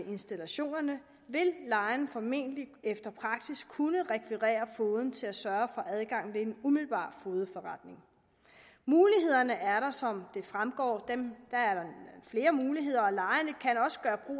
installationerne vil lejeren formentlig efter praksis kunne rekvirere fogeden til at sørge for adgang ved en umiddelbar fogedforretning mulighederne er der som det fremgår der er flere muligheder